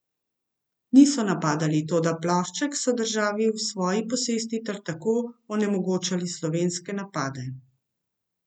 Niso napadali, toda plošček so držali v svoji posesti ter tako onemogočali slovenske napade.